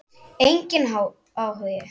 Enginn áhugi.